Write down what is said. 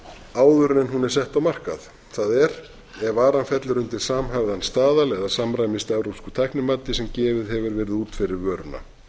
áður en hún er sett á markað það er ef varan fellur undir samhæfðan staðal eða samræmist evrópsku tæknimati sem gefið hefur verið út fyrir vöruna